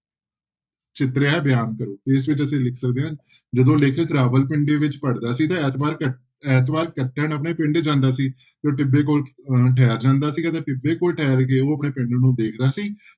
ਚਿਤਰਿਆ ਹੈ, ਬਿਆਨ ਕਰੋ, ਤੇ ਇਸ ਵਿੱਚ ਅਸੀਂ ਲਿਖ ਸਕਦੇ ਹਾਂ ਜਦੋਂ ਲੇਖਕ ਰਾਵਲਪਿੰਡੀ ਵਿੱਚ ਪੜ੍ਹਦਾ ਸੀ ਤਾਂ ਐਤਵਾਰ ਕ~ ਐਤਵਾਰ ਕੱਟਣ ਆਪਣੇ ਪਿੰਡ ਜਾਂਦਾ ਸੀ ਤੇ ਟਿੱਬੇ ਕੋਲ ਅਹ ਠਹਿਰ ਜਾਂਦਾ ਸੀ ਅਤੇ ਟਿੱਬੇ ਕੋਲ ਠਹਿਰ ਕੇ ਉਹ ਆਪਣੇ ਪਿੰਡ ਨੂੰ ਦੇਖਦਾ ਸੀ,